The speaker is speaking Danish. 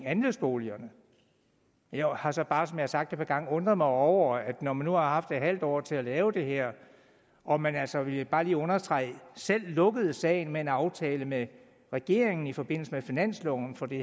andelsboligerne jeg har så bare som jeg har sagt et par gange undret mig over at man når man nu har haft et halvt år til at lave det her og man altså vil jeg bare lige understrege selv lukkede sagen med en aftale med regeringen i forbindelse med finansloven for det